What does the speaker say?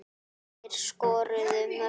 Hverjir skoruðu mörkin?